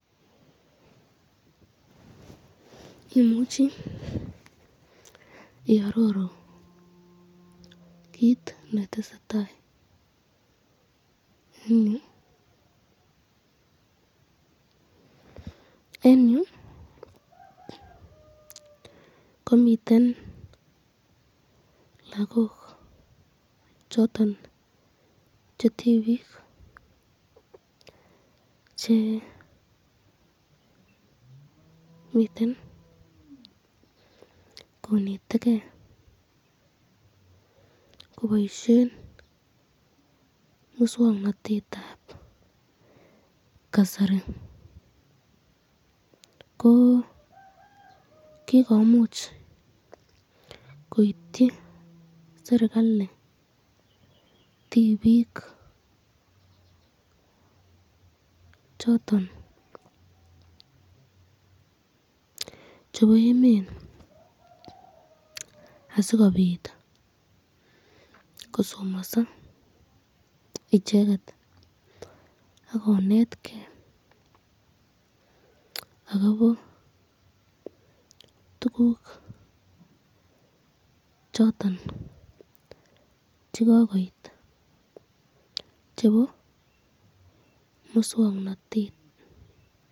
Imuchi iaroru kit netesetai eng yu, eng yu komiten lagok choton che tibik che miten koneteken koboisyen miswoknotetab kasari, ko kikomuch koityi srikalit tibik choton chebo emet asikobit kosomaso icheket akonetkrn akobo tukuk choton chekokuoi chebo muswoknotet